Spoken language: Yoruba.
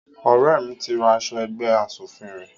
Ọrẹ mí tí ra aṣọ ẹgbẹ́ aṣòfin rẹ